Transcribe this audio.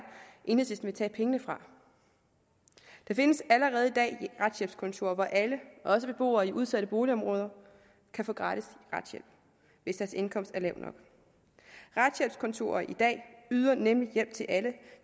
enhedslisten vil tage pengene fra der findes allerede i dag retshjælpskontorer hvor alle også beboere i udsatte boligområder kan få gratis retshjælp hvis deres indkomst er lav nok retshjælpskontorer yder nemlig i hjælp til alle